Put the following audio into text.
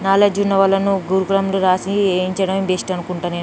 Knowledge ఉన్నవాళ్ళను గురుకులంలో రాసి వేయించడం బెస్ట్ అనుకుంట నేను.